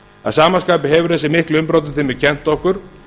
að sama skapi hefur þessi mikli umbrotatími kennt okkur